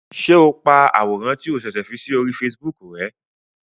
Ṣe o pá àwòrán ti o ṣẹṣẹ fí si ori Facebook rè?